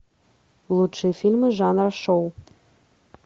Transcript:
лучшие фильмы жанра шоу